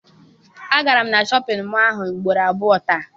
Agara m na Shọpịn mọọ ahụ ugboro abụọ taa.